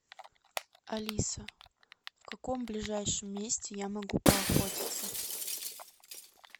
алиса в каком ближайшем месте я могу поохотиться